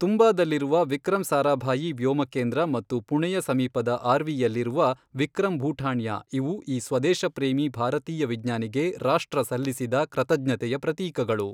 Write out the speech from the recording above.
ತುಂಬಾದಲ್ಲಿರುವ ವಿಕ್ರಮ್ ಸಾರಾಭಾಯಿ ವ್ಯೋಮಕೇಂದ್ರ ಮತ್ತು ಪುಣೆಯ ಸಮೀಪದ ಆರ್ವಿಯಲ್ಲಿರುವ ವಿಕ್ರಮ್ ಭೂಠಾಣ್ಯ ಇವು ಈ ಸ್ವದೇಶಪ್ರೇಮೀ ಭಾರತೀಯ ವಿಜ್ಞಾನಿಗೆ ರಾಷ್ಟ್ರ ಸಲ್ಲಿಸಿದ ಕೃತಜ್ಞತೆಯ ಪ್ರತೀಕಗಳು.